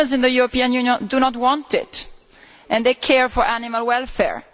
Consumers in the European Union do not want it and they care for animal welfare.